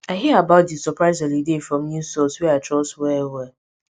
i hear about di surprise holiday from news source wey i trust well well